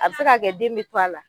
A bɛse ka kɛ den bɛ to a la.